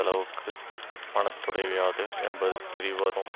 அளவுக்கு மடத்துடைவியாது என்பது தெரிவரும்